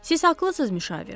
Siz haqlısız müşavir.